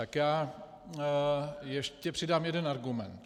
Tak já ještě přidám jeden argument.